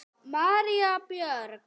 María Björg.